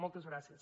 moltes gràcies